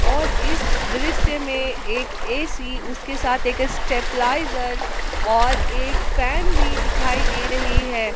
और इस दृश्य में एक ए_सी उसके साथ एक स्टेबलाइजर और एक फैन भी दिखाई दे रही है।